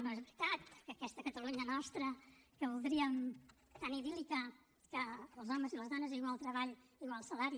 no és veritat que aquesta catalunya nostra que voldríem tan idíl·lica en què els homes i les dones a igual treball igual salari